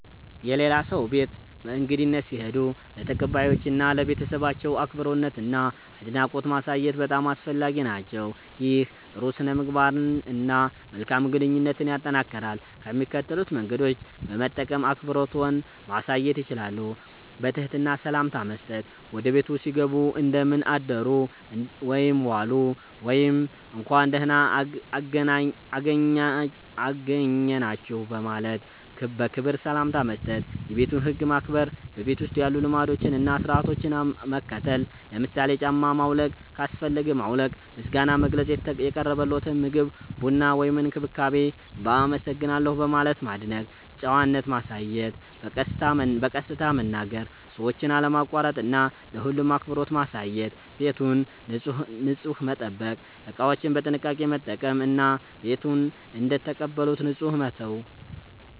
የሌላ ሰው ቤት በእንግድነት ሲሄዱ ለተቀባዮቹ እና ለቤተሰባቸው አክብሮትና አድናቆት ማሳየት በጣም አስፈላጊ ነው። ይህ ጥሩ ሥነ-ምግባርን እና መልካም ግንኙነትን ያጠናክራል። ከሚከተሉት መንገዶች በመጠቀም አክብሮትዎን ማሳየት ይችላሉ፦ በትህትና ሰላምታ መስጠት – ወደ ቤቱ ሲገቡ “እንደምን አደሩ/ዋሉ” ወይም “እንኳን ደህና አገኘናችሁ” በማለት በክብር ሰላምታ መስጠት። የቤቱን ህግ ማክበር – በቤቱ ውስጥ ያሉ ልማዶችን እና ሥርዓቶችን መከተል። ለምሳሌ ጫማ ማውለቅ ካስፈለገ ማውለቅ። ምስጋና መግለጽ – የቀረበልዎትን ምግብ፣ ቡና ወይም እንክብካቤ በ“አመሰግናለሁ” በማለት ማድነቅ። ጨዋነት ማሳየት – በቀስታ መናገር፣ ሰዎችን አለማቋረጥ እና ለሁሉም አክብሮት ማሳየት። ቤቱን ንጹህ መጠበቅ – እቃዎችን በጥንቃቄ መጠቀም እና ቤቱን እንደተቀበሉት ንጹህ መተው።